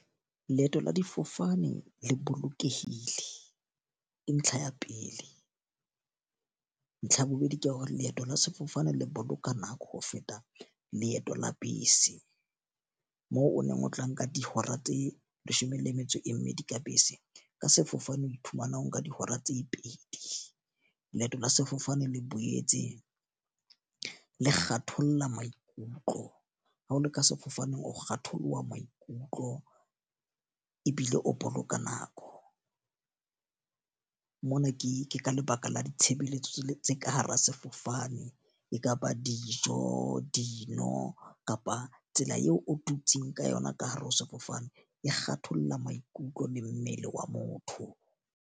Leeto la difofane le bolokehile, ntlha ya pele. Ntlha ya bobedi ke hore leeto la sefofane le boloka nako ho feta leeto la bese, moo o neng o tla nka dihora tse leshome le metso e mmedi ka bese. Ka sefofane o iphumana o nka dihora tse pedi. Leeto la sefofane le boyetse le kgatholla maikutlo. Ha o le ka sefofaneng o kgatholoha maikutlo ebile o boloka nako. Mona ke ka lebaka la ditshebeletso tse ka hara sefofane. E ka ba dijo, dino kapa tsela eo o tutsang ka yona ka hare ho sefofane. E kgatholla maikutlo le mmele wa motho.